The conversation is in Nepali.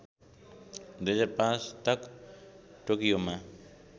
२००५ तक टोकियोमा